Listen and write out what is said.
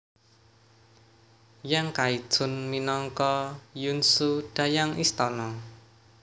Yang Kaichun minangka Yunzhu Dayang istana